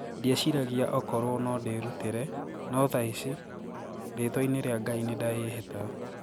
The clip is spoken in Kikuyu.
Ndieciragia okorwo noo ndirûtire, noo thaĩcĩ, ritwa ini ria Ngai nindaĩhĩta.